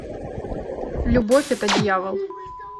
любовь это дьявол